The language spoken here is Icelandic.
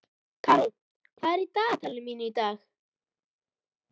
Karó, hvað er á dagatalinu mínu í dag?